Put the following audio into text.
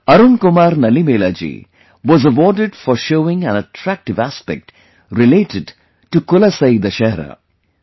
Arun Kumar Nalimelaji was awarded for showing an attractive aspect related to 'KulasaiDussehra'